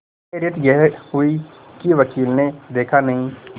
खैरियत यह हुई कि वकील ने देखा नहीं